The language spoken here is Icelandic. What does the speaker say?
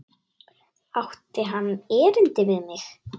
Átti hann erindi við mig?